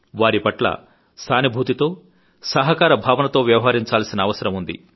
వారి పట్ల సానుభూతితో సహకార భావనతో వ్యవహరించాల్సిన అవసరం ఉంది